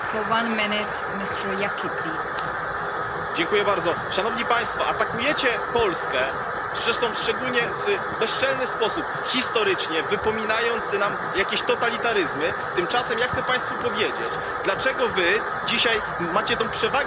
Pani Przewodnicząca! Atakujecie Polskę, zresztą w szczególnie bezczelny sposób, historycznie wypominając nam jakieś totalitaryzmy. Tymczasem ja chcę Państwu powiedzieć, dlaczego wy dzisiaj macie tę przewagę ekonomiczną, która wam pozwala na taką arogancję wobec Polski.